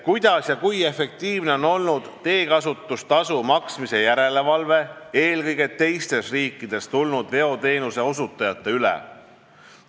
Kuidas ja kui efektiivne on olnud teekasutustasu maksmise järelevalve eelkõige teistest riikidest tulnud veoteenuse osutajate üle?